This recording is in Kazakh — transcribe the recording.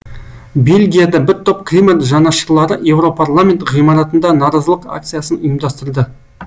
бельгияда бір топ климат жанашырлары еуропарламент ғимаратында наразылық акциясын ұйымдастырды